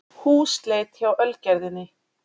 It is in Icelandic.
Húsleit hjá Ölgerðinni